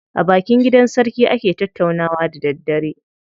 A bakin gidan sarki ake tattaunawa da daddare.